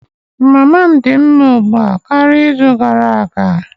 Mama m dị mma ugbu a karịa izu gara aga